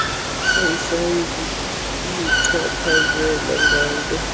ayisayi kuluchaphazela nganto